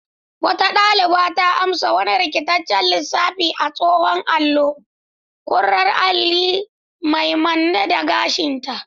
Wata daliba ta amsa wani rikitaccen lissafi a tsohon allo, kurar alli mai manne da gashinta.